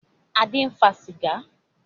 Adé ń fa sìgá